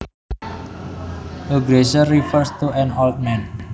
A geezer refers to an old man